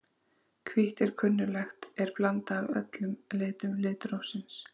Hvítt er sem kunnugt er blanda af öllum litum litrófsins.